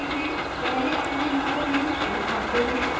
पहले अपना username print करते हैं